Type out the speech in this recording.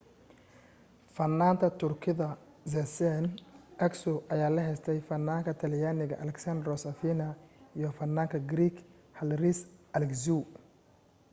fanaanta turkida sezen aksu ayaa la heestay fanaanka talyaaniga alessandro safina iyo fanaanka greek haris alexiou